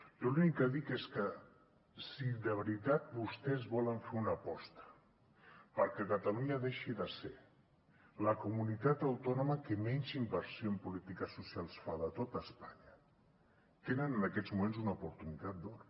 jo l’únic que dic és que si de veritat vostès volen fer una aposta perquè catalunya deixi de ser la comunitat autònoma que menys inversió en polítiques socials fa de tot espanya tenen en aquests moments una oportunitat d’or